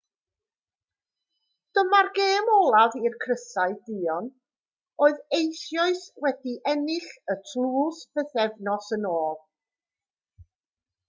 dyma'r gêm olaf i'r crysau duon oedd eisoes wedi ennill y tlws bythefnos yn ôl